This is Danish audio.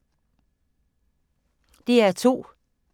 DR2